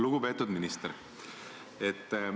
Lugupeetud minister!